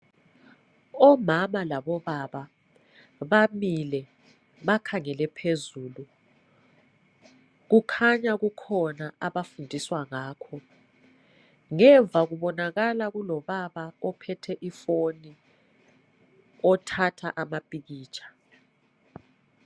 Omama Labobaba bamile bakhangele phezulu kukhanya kukhona abafundiswa ngakho ngemva kubonakala kulobaba ophethe ifoni othatha amapikitsha